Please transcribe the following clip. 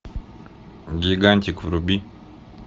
гигантик вруби